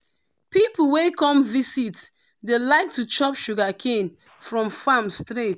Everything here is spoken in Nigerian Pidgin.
people wey come visit dey like to chop sugarcane from farm straight.